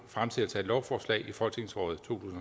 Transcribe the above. fremsættelse af et lovforslag i folketingsåret to